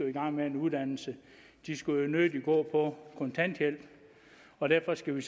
i gang med en uddannelse de skulle jo nødig gå på kontanthjælp og derfor skal vi